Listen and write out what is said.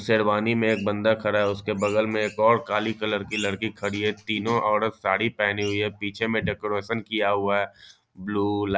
शेरवानी में एक बंदा खड़ा है उसके बगल में और काली कलर की लड़की खड़ी है तीनों औरत साड़ी पहनी हुई है पीछे में डेकोरेसन किया हुआ है ब्लू --